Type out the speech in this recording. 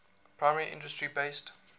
primary industry based